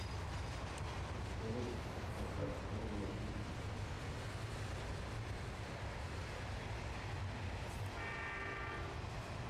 салют поставь анимал пикник